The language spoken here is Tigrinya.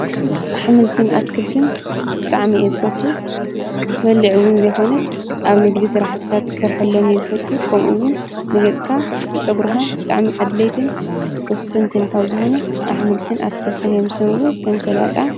ኣኅምልትን ኣትክልትን ጣዕሚ ዝፈቱ ክበልዕውን ዘይኾነስ ኣብ ንግዲሥ ራሕትታት ክሠርሖሎም እይዝፈቱ ቆምኡውን ንገጥካ ንፀጕሩኻ ጣዕሚ ኣድለይትን ወስንትንካብ ዝኾኑ ኣኅምልትን ኣትክልትን የምስምውን ከምሰላጣ